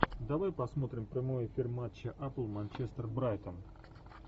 давай посмотрим прямой эфир матча апл манчестер брайтон